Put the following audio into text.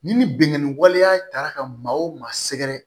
Ni binganni waleya taara ka maa o maa sɛgɛrɛ